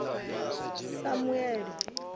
samuele